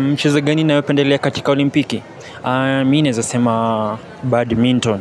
Mchezo gani naewependelea katika olimpiki? Mi nezasema badminton.